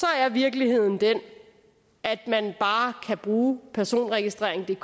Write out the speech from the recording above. er virkeligheden den at man bare kan bruge personregistreringdk